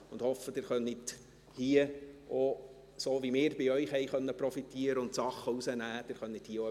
Ich hoffe, dass Sie hier profitieren und gewisse Sachen mitnehmen können – so, wie wir auch bei Ihnen profitieren und Dinge mitnehmen konnten.